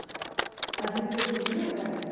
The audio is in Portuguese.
Aí você me pergunta, e o resto?